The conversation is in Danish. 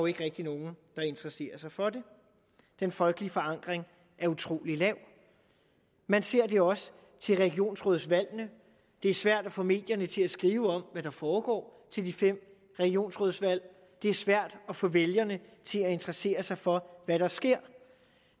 ikke rigtig nogen der interesserer sig for det den folkelige forankring er utrolig lav man ser det også til regionsrådsvalgene det er svært at få medierne til at skrive om hvad der foregår til de fem regionsrådsvalg og det er svært at få vælgerne til at interessere sig for hvad der sker